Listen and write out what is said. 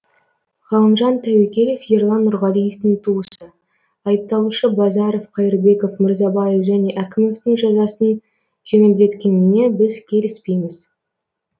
ғалымжан тәуекелов ерлан нұрғалиевтің туысы айыпталушы базаров қайырбеков мырзабаев және әкімовтің жазасын жеңілдеткеніне біз келіспейміз